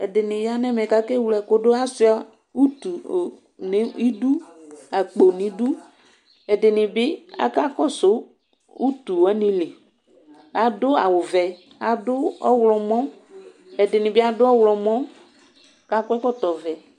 Ɛdini yanʋ ɛmɛ kʋ ake wle ɛkʋdu asuia akpo nʋ idʋ ɛdini bi aka kɔsʋ utu wani li adʋ awʋvɛ ɛdini bi adʋ ɔwlɔmɔ kʋ akɔ ɛkɔtɔvɛ